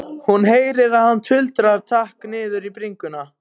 Hún heyrir að hann tuldrar takk niður í bringuna.